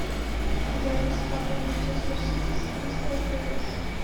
запись апл манчестер сити с кристал пэлас